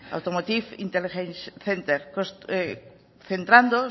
automotive intelligence center centrando